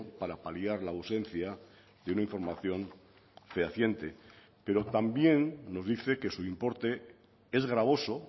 para paliar la ausencia de una información fehaciente pero también nos dice que su importe es gravoso